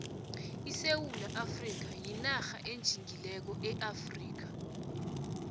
isewula afrikha winarha enjingileko eafrikha